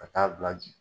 Ka taa bila bi